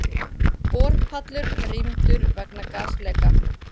Borpallur rýmdur vegna gasleka